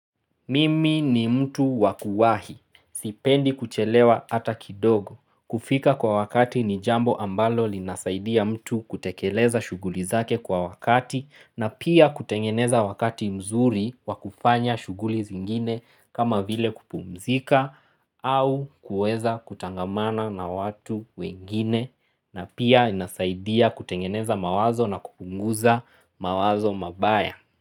Mimi ni mtu wakuwahi, sipendi kuchelewa ata kidogo, kufika kwa wakati ni jambo ambalo linasaidia mtu kutekeleza shuguli zake kwa wakati na pia kutengeneza wakati mzuri wa kufanya shuguli zingine kama vile kupumzika au kueza kutangamana na watu wengine na pia inasaidia kutengeneza mawazo na kupunguza mawazo mabaya.